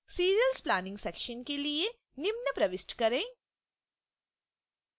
serials planning section के लिए निम्न प्रविष्ट करें